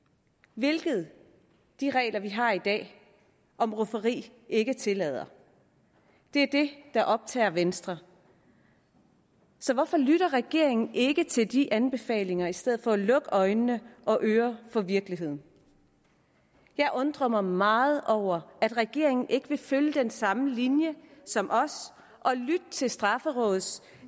hvilket de regler vi har i dag om rufferi ikke tillader det er det der optager venstre så hvorfor lytter regeringen ikke til de anbefalinger i stedet for at lukke øjne og ører for virkeligheden jeg undrer mig meget over at regeringen ikke vil følge den samme linje som os og lytte til straffelovrådets